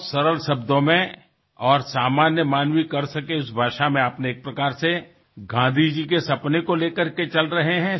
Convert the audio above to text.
অতিশয় সৰল শব্দত আৰু সাধাৰণ মানুহে কৰিব পৰাকৈ আপুনি গান্ধীজীৰ সেই সপোন আগুৱাই লৈ গৈছে